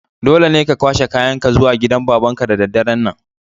Dole ne ka kwashe kayan ka zuwa gidan baban ka da daren' nan!